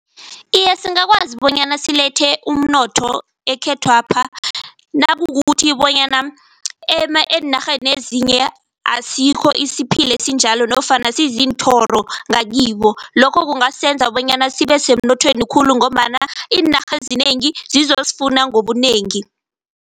Iye, singakwazi bonyana silethe umnotho ekhethwapha nakukukuthi bonyana eenarheni ezinye asikho isiphila esinjalo nofana sizinthoro ngakibo. Lokho kungasenza bonyana sibe semnothweni khulu ngombana iinarha ezinengi zizozifuna ngobunengi.